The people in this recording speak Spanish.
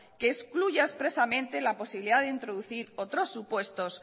que excluya expresamente la posibilidad de introducir otros supuestos